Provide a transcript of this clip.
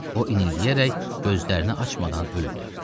O, inildəyərək gözlərini açmadan öldü.